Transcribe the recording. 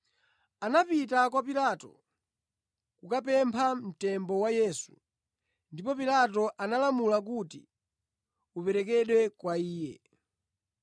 Anapita kwa Pilato kukapempha mtembo wa Yesu, ndipo Pilato analamula kuti uperekedwe kwa iye.